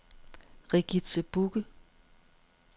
Regitze Bugge